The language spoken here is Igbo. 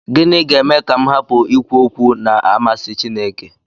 Gịnị ga-eme ka m hapụ ikwu okwu na-amasị Chineke?